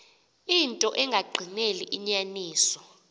into engagqineli inyaniso